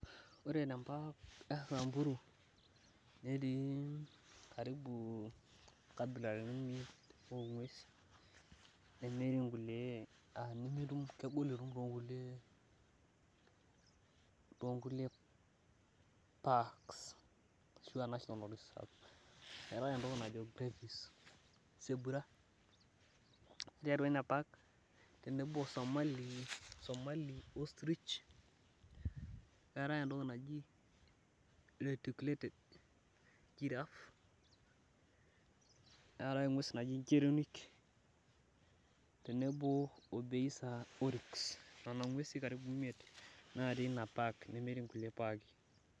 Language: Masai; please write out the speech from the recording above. Ore tenkop esambur netii karibu nkabilaritin uni ongwesin , nemiri nkulie aa kegol oleng etumi toonkuli , toonkulie paks ashua nationa paks , eetae entoki najo sebura ore tinapark tenebo osomali , somali ostrich , neetae entoki reticulated giraffe, neetae engwes naji geronic